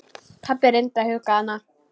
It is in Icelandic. Pabbi reyndi að hugga hana.